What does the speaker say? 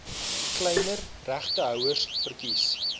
kleiner regtehouers verkies